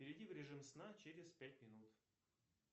перейди в режим сна через пять минут